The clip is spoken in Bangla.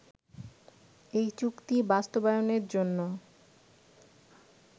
এই চুক্তি বাস্তবায়নের জন্য